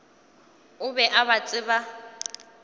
o be a ba tseba